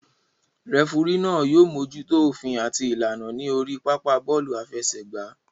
Rẹfurí náà yóò mójútó òfin àti ìlànà ní orí pápá bọ́ọ̀lù àfẹsẹ̀gbá